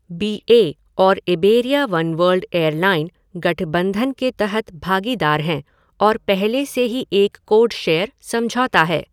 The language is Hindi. बी ए और इबेरिया वनवर्ल्ड एयरलाइन गठबंधन के तहत भागेदार हैं और पहले से ही एक कोडशेयर समझौता है।